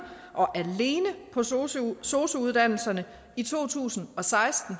og alene på sosu sosu uddannelserne i to tusind og seksten